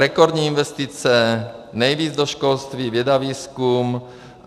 Rekordní investice, nejvíc do školství, věda, výzkum.